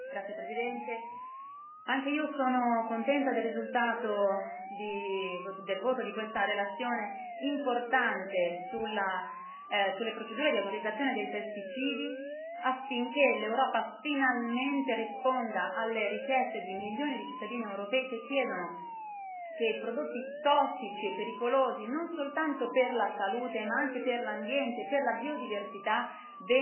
Signor Presidente, onorevoli colleghi, anch'io sono contenta del risultato del voto di questa relazione, importante, sulle procedure di autorizzazione dei pesticidi, affinché l'Europa finalmente risponda alle richieste di milioni di cittadini europei che chiedono che i prodotti tossici e pericolosi, non soltanto per la salute, ma anche per l'ambiente, per la biodiversità,